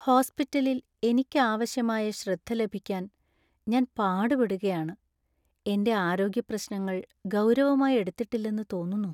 ഹോസ്പിറ്റലില്‍ എനിക്ക് ആവശ്യമായ ശ്രദ്ധ ലഭിക്കാൻ ഞാൻ പാടുപെടുകയാണ്, എന്‍റെ ആരോഗ്യപ്രശ്നങ്ങൾ ഗൗരവമായി എടുത്തിട്ടില്ലെന്ന് തോന്നുന്നു.